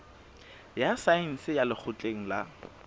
ya saense ya lekgotleng la